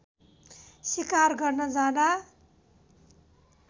सिकार गर्न जाँदा